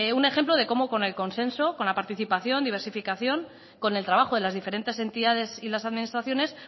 un ejemplo de cómo con el consenso con la participación diversificación con el trabajo de las diferentes entidades y las administraciones